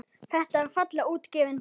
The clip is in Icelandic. Þetta er fallega útgefin bók.